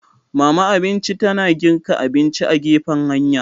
Mama abinci ta na girka abinci a gefen hanya.